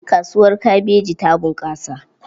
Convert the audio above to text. Kasuwar kabeji ta bunƙasa.